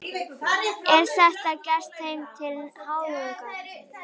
Er þetta gert þeim til háðungar?